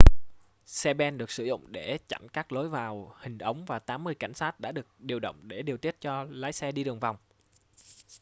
xe ben được sử dụng để chặn các lối vào hình ống và 80 cảnh sát đã được điều động để điều tiết cho lái xe đi đường vòng